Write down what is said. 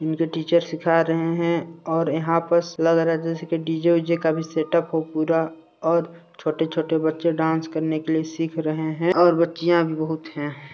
इनके टीचर्स सिखा रहे है और यहाँ पस लग रह है डी.जे वि-जे का भी सेट-उप हो पूरा और छोटे-छोटे बच्चे डांस करने के लिए सिख रहे है और बच्चियाँ भी बहुत हैं।